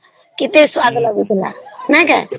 କେତେ ସ୍ୱାଦ ଲାଗୁଥିଲା ନାଇଁ କା